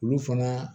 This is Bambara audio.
Olu fana